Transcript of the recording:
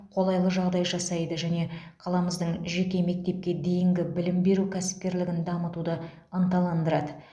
қолайлы жағдай жасайды және қаламыздың жеке мектепке дейінгі білім беру кәсіпкерлігін дамытуды ынталандырады